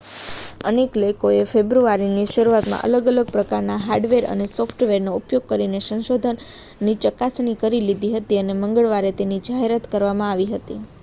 અનેક લોકોએ ફેબ્રુઆરીની શરૂઆતમાં અલગ-અલગ પ્રકારનાં હાર્ડવેર અને સોફ્ટવેરનો ઉપયોગ કરીને સંશોધનની ચકાસણી કરી લીધી હતી અને મંગળવારે તેની જાહેરાત કરવામાં આવી હતી